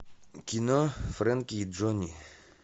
кино фрэнки и джонни